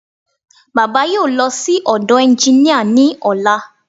Baba yóò lọ sí ọ̀dọ̀ ẹnginíà ní ọ̀la